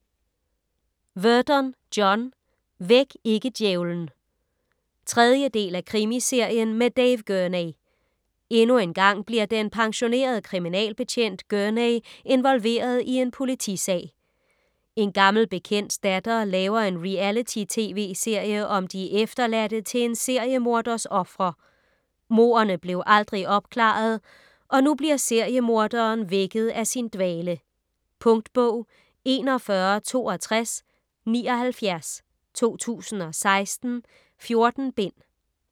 Verdon, John: Væk ikke djævlen 3. del af Krimiserien med Dave Gurney. Endnu engang bliver den pensionerede kriminalbetjent Gurney involveret i en politisag. En gammel bekendts datter laver en reality tv-serie om de efterladte til en seriemorders ofre. Mordene blev aldrig opklaret og nu bliver seriemorderen vækket af sin dvale. Punktbog 416279 2016. 14 bind.